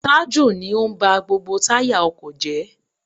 Taju ni ó ń ba gbogbo táyà ọkọ̀ jẹ́.